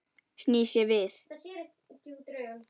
Snýr sér við.